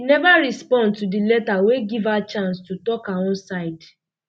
she neva respond to di letter wey give her um chance to tok her own side